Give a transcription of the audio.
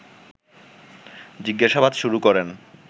জিজ্ঞাসাবাদ শুরু করেন